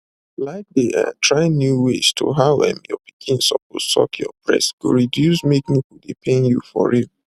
like dey um try new ways to how um your pikin suppose suck your breast go reduce make nipple dey pain you for real